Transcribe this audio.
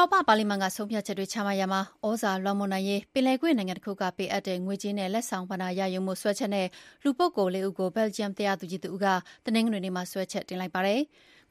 ောပပါလီမန်က ဆုံးဖြတ်ချက်တွေ ချမှတ်ရာမှာ သြဇာလွှမ်းမိုးနိုင်ရေး ပင်လယ်ကွေ့နိုင်ငံတခုက ပေးအပ်တဲ့ ငွေကြေးနဲ့ လက်ဆောင်ပဏ္ဍာတွေရယူမှုစွဲချက်နဲ့ လူပုဂ္ဂိုလ် ၄ ဦးကို ဘယ်လ်ဂျီယံတရားသူကြီးတဦးက တနင်္ဂနွေနေ့မှာ စွဲချက်တင်လိုက်ပါတယ်။